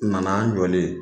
N nana, n jɔlen